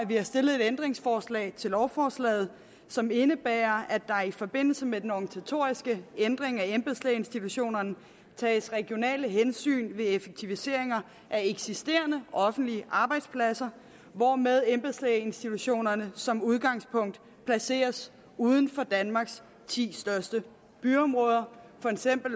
vi har stillet et ændringsforslag til lovforslaget som indebærer at der i forbindelse med den organisatoriske ændring af embedslægeinstitutionerne tages regionale hensyn ved effektiviseringer af eksisterende offentlige arbejdspladser hvorved embedslægeinstitutionerne som udgangspunkt placeres uden for danmarks ti største byområder